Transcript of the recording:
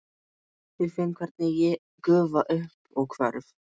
Ég finn hvernig ég gufa upp og hverf.